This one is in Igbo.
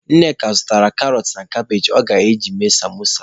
Nneka zụrụ karọt na kabage o ji eme samosa.